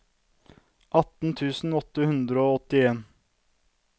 atten tusen åtte hundre og åttien